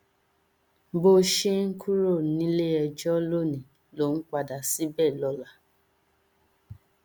bó ṣe ń kúrò níléẹjọ lónìí ló ń padà síbẹ lọla